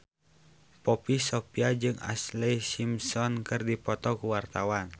Poppy Sovia jeung Ashlee Simpson keur dipoto ku wartawan